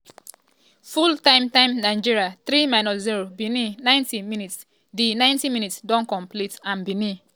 full time: time: nigeria 3-0 benin 90 mins - di ninety minutes don complete and benin